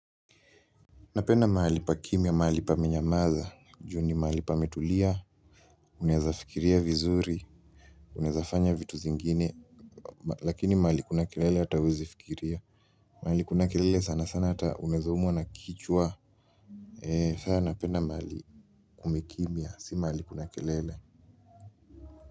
Napenda mahali pa kimya, mahali pame nyamaza, juu ni mahali pametulia, unaweza fikiria vizuri, unaweza fanya vitu zingine, lakini mahali kuna kelele hata huwezi fikiria. Mahali kuna kelele sana sana hata unaweza umwa na kichwa. Sana napenda mahali kumekimya, si mahali kuna kelele.